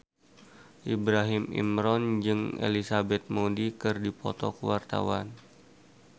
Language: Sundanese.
Ibrahim Imran jeung Elizabeth Moody keur dipoto ku wartawan